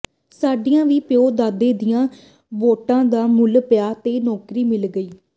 ਸਾਡੀਆਂ ਵੀ ਪਿਉ ਦਾਦੇ ਦੀਆਂ ਵੋਟਾਂ ਦਾ ਮੁੱਲ ਪਿਆ ਤੇ ਨੌਕਰੀ ਮਿਲ ਗਈ